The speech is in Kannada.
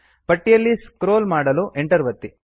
ಪಟ್ಟಿಯಲ್ಲಿ ಸ್ಕ್ರೋಲ್ ಮಾಡಲು Enter ಒತ್ತಿ